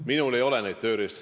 Minul ei ole rohkem tööriistu.